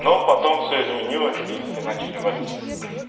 но потом все изменилось и все начали валить отсюда